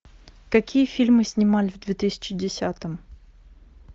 какие фильмы снимали в две тысячи десятом